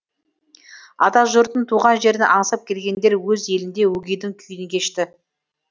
атажұртын туған жерін аңсап келгендер өз елінде өгейдің күйін кешті